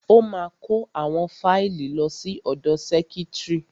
Ó ma kó àwọn fáìlì lọ sí ọ̀dọ sẹ́kítrì.